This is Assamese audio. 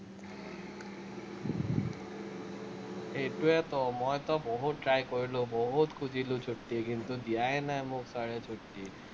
সেইটোৱেতো মইতো বহুত try কৰিলো, বহুত খুজিলো ছুটি, কিন্তু, দিয়াই নাই মোক, চাৰে ছুট্টি